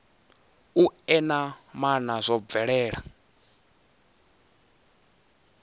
u ea maana zwo bvelela